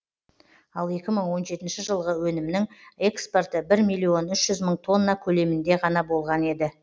ал екі мың он жетінші жылғы өнімнің экспорты бір миллион үш жүз мың тонна көлемінде ғана болған еді